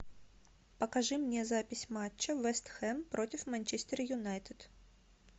покажи мне запись матча вест хэм против манчестер юнайтед